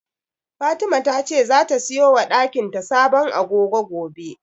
Fatima tace zata siyo wa dakin ta sabon agogo gobe.